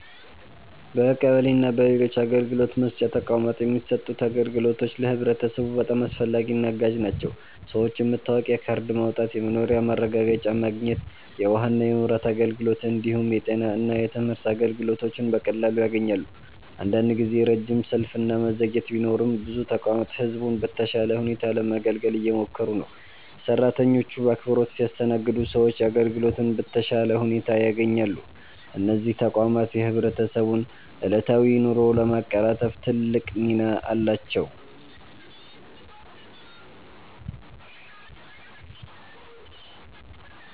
በቀበሌ እና በሌሎች አገልግሎት መስጫ ተቋማት የሚሰጡት አገልግሎቶች ለህብረተሰቡ በጣም አስፈላጊና አጋዥ ናቸው። ሰዎች የመታወቂያ ካርድ ማውጣት፣ የመኖሪያ ማረጋገጫ ማግኘት፣ የውሃና የመብራት አገልግሎት እንዲሁም የጤና እና የትምህርት አገልግሎቶችን በቀላሉ ያገኛሉ። አንዳንድ ጊዜ ረጅም ሰልፍ እና መዘግየት ቢኖርም ብዙ ተቋማት ህዝቡን በተሻለ ሁኔታ ለማገልገል እየሞከሩ ነው። ሰራተኞቹ በአክብሮት ሲያስተናግዱ ሰዎች አገልግሎቱን በተሻለ ሁኔታ ያገኛሉ። እነዚህ ተቋማት የህብረተሰቡን ዕለታዊ ኑሮ ለማቀላጠፍ ትልቅ ሚና አላቸው።